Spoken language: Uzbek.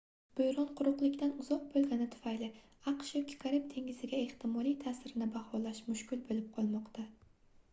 boʻron quruqlikdan uzoq boʻlgani tufayli aqsh yoki karib dengiziga ehtimoliy taʼsirini baholash mushkul boʻlib qolmoqda